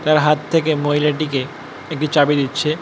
তার হাত থাকে মহিলাটি কে একটি চাবি দিচ্ছে।